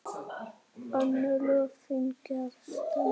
Önnur lög fengju að standa.